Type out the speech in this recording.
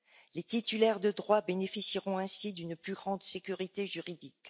Les titulaires de droits bénéficieront ainsi d'une plus grande sécurité juridique.